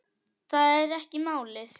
Það er ekki málið.